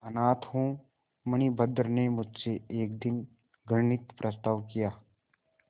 अनाथ हूँ मणिभद्र ने मुझसे एक दिन घृणित प्रस्ताव किया